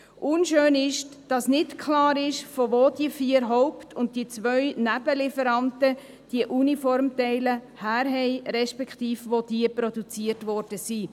Unschön ist, dass nicht klar ist, woher die vier Haupt- und die zwei Nebenlieferanten die Uniformteile haben, respektive wo diese produziert wurden.